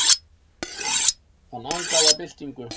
Hann angaði af byltingu.